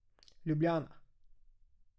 Ljubljana.